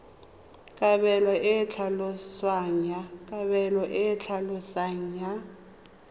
kabelo e e tlhaloswang ya